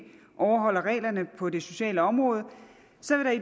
overholder reglerne på det sociale område